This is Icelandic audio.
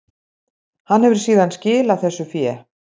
Hann hefur síðan skilað þessu fé